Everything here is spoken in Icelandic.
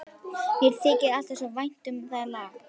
Mér þykir alltaf svo vænt um það lag.